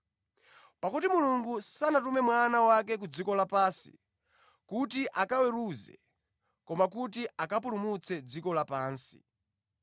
Pakuti Mulungu sanatume Mwana wake ku dziko lapansi, kuti akaweruze, koma kuti akapulumutse dziko lapansi.